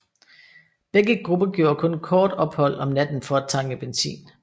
Begge gruppe gjorde kun kort ophold om natten for at tanke benzin